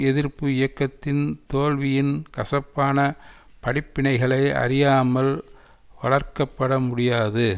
எதிர்ப்பு இயக்கத்தின் தோல்வியின் கசப்பான படிப்பினைகளை அறியாமல் வளர்க்கப்பட முடியாது